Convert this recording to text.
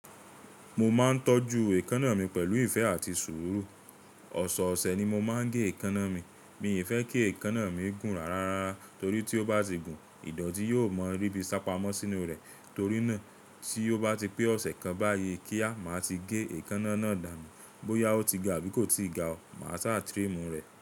Mo máa ń tọ́jú èékánná mi pẹ̀lú ìfẹ́ àti sùúrù. Ọ̀sọ̀ọ̀sẹ̀ ni mo máa ń gé èékánná mi. Mi i fẹ́ kí èékánná mi gùn ràrá rárá, torí tí ó bá ti gùn, ìdọ̀tí yóò mọ rí bi sá pamọ́ sínú rẹ̀. Torí náà, tí ó bá ti pé ọ̀sẹ̀ kan báyìí kíá, màá ti gé èékánná náà dànù. Bóyá ó ti ga abí kò ti ga o, màá ṣá trim rẹ̀